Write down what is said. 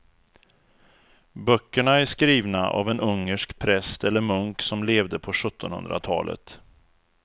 Böckerna är skrivna av en ungersk präst eller munk som levde på sjuttonhundratalet.